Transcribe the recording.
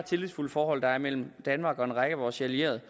tillidsfulde forhold der er mellem danmark og en række af vores allierede